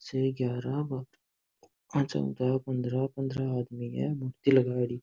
से ग्यारह --